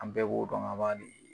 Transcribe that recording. An bɛɛ b'o dɔn ŋa b'a di